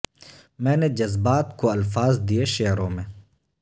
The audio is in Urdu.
میں نے جذبات کو الفاظ دیئےشعروں میں